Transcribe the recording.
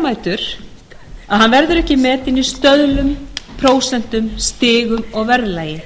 hann verður ekki metinn í stöðlum prósentum stigum og verðlagi